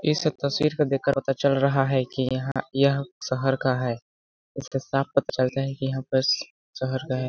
इस तस्वीर को देख के पता चल रहा है की यहाँ यह शहर का है इससे साफ पता चलता है की यहाँ पस शहर का है।